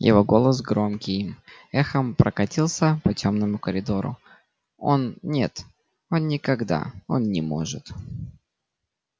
его голос громким эхом прокатился по тёмному коридору он нет он никогда он не может